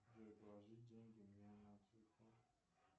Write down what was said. джой положить деньги мне на телефон